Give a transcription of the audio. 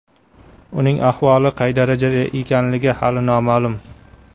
Uning ahvoli qay darajada ekanligi hali noma’lum.